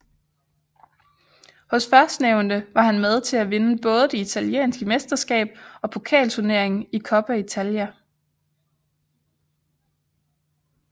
Hos førstnævnte var han med til at vinde både det italienske mesterskab og pokalturneringen Coppa Italia